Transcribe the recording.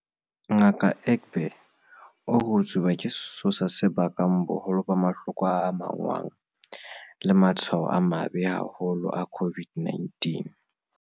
Ngaka Egbe o re ho tsuba ke sesosa se bakang boholo ba mahloko a amahanngwang le matshwao a mabe haholo a COVID-19.